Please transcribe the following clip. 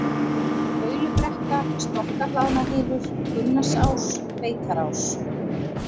Baulubrekka, Stokkahlaðnahylur, Gunnarsás, Beitarás